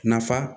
Nafa